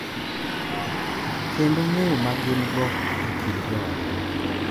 Kendo ng’eyo ma gin-go e kind joodgi.